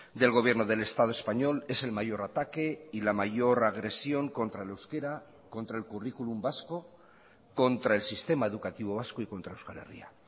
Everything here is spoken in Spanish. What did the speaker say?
del gobierno del estado español ese l mayor ataque y la mayor agresión contra el euskera contra el currículum vasco contra el sistema educativo vasco y contra euskal herria